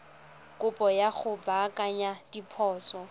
kopo ya go baakanya diphoso